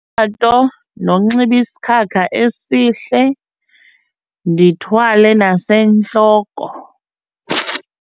nokunxiba isikhakha esihle, ndithwale nasentloko.